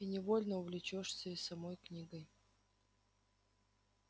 и невольно увлечёшься и самой книгой